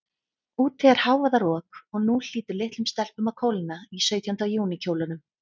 Úti er hávaðarok, og nú hlýtur litlum stelpum að kólna í sautjánda júní kjólunum.